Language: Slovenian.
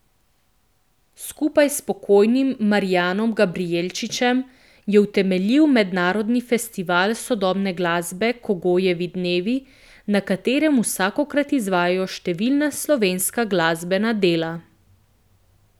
Skupaj s pokojnim Marijanom Gabrijelčičem je utemeljil mednarodni festival sodobne glasbe Kogojevi dnevi, na katerem vsakokrat izvajajo številna slovenska glasbena dela.